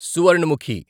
Suvarnamukhi